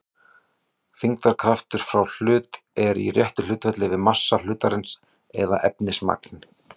Þyngdarkraftur frá hlut er í réttu hlutfalli við massa hlutarins eða efnismagn.